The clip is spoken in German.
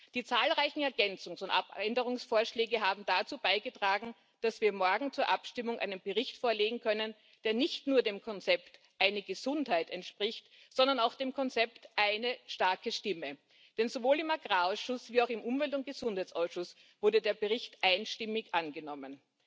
Die zahlreichen Ergänzungs und Abänderungsvorschläge haben dazu beigetragen, dass wir morgen zur Abstimmung einen Bericht vorlegen können, der nicht nur dem Konzept Eine Gesundheit entspricht, sondern auch dem Konzept Eine starke Stimme, denn sowohl im Agrarausschuss wie auch im Umweltausschuss wurde der Bericht einstimmig angenommen.